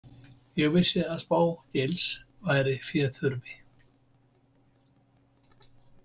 Ég vissi að Spá- Gils væri féþurfi.